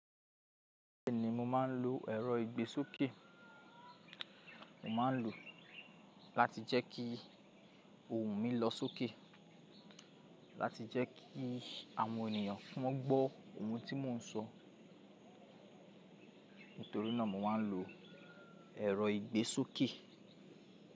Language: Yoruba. Bẹ́ẹ̀ni mo máa ń lo ẹ̀rọ ìgbésókè, mo máa ń lò ó láti jẹ́ kí ohùn mi lọ sókè, láti jẹ́ kí àwọn ènìyàn fún un gbó ohùn tí mò ń sọ. Nítorí náà mo máa ń lo ẹ̀rọ ìgbésókè.